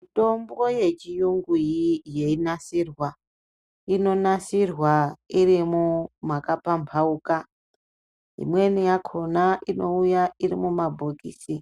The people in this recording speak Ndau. Mitombo yechiyungu yeinasirwa, inonasirwa iri makapambauka, imweni yakona inouya irimumabhokisi,